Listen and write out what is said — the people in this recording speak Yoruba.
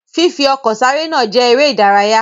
Fifi ọkọ̀ sáré náà jẹ eré ìdárayá.